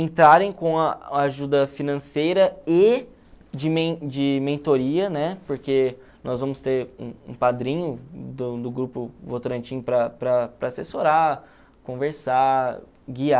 entrarem com a a ajuda financeira e de men de mentoria, porque nós vamos ter um um padrinho do do grupo Votorantim para para para assessorar, conversar, guiar.